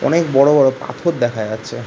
অনেক বড়ো বড়ো পাথর দেখা যাচ্ছে ।